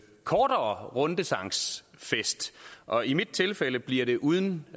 kortere rundesangsfest og i mit tilfælde bliver det uden